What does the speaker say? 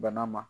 Bana ma